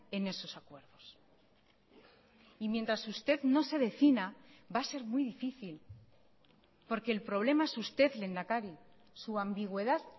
en esos acuerdos y mientras usted no se defina va a ser muy difícil porque el problema es usted lehendakari su ambigüedad